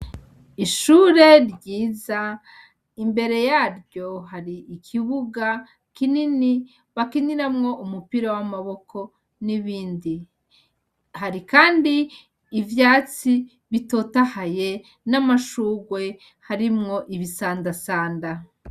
Ishure ryiza imbere yaryo hari ikibuga kinini bakiniramwo umupira w'amaboko n'ibindi, hari kandi ivyatsi bitotahaye n'amashurwe harimwo ibisandasanda.